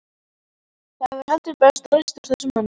Það hefur heldur betur ræst úr þeim manni!